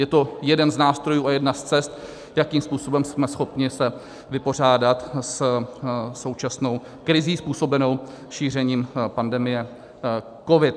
Je to jeden z nástrojů a jedna z cest, jakým způsobem jsme schopni se vypořádat se současnou krizí, způsobenou šířením pandemie COVID.